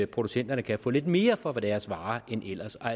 producenterne kan få lidt mere for deres varer end ellers og